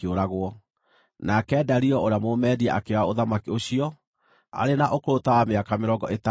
nake Dario ũrĩa Mũmedia akĩoya ũthamaki ũcio, arĩ na ũkũrũ ta wa mĩaka mĩrongo ĩtandatũ na ĩĩrĩ.